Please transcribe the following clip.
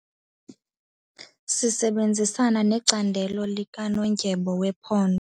Sisebenzisana necandelo likanondyebo wephondo.